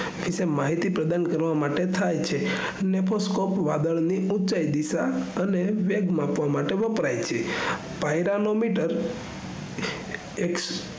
વિશે માહિતી પ્રદાન કરવા માટે થાય છે nephnoscope વાદળ ની ઉચાઈ દિશા અને વેગ માપવા માટે વપરાય છે pyranometer એક